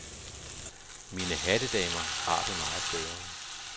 Mine hattedamer har det meget bedre.